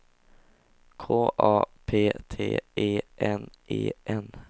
K A P T E N E N